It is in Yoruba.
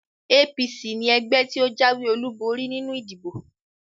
APC ni ẹgbẹ́ tí ó jáwé olúborí nínú ìdìbò